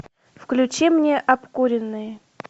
включи мне обкуренные